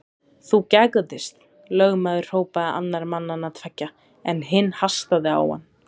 Þú gægðist, lögmaður hrópaði annar mannanna tveggja, en hinn hastaði á hann.